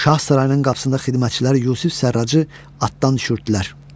Şah sarayının qapısında xidmətçilər Yusif Sərracı atdan düşürtdülər.